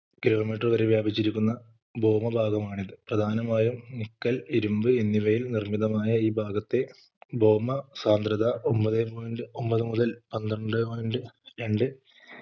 kilometer വരെ വ്യാപിച്ചിരിക്കുന്ന ഭൗമ പാതമാണിത് പ്രധാനമായും നിക്കൽ ഇരുമ്പ് എന്നിവയിൽ നിർമിതമായ ഈ ഭാഗത്തെ ഭൗമ സാന്ദ്രത ഒൻപതെ point ഒൻപത് മുതൽ പന്ത്രണ്ടെ point രണ്ട്